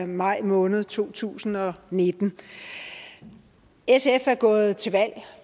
maj måned to tusind og nitten sf er gået til valg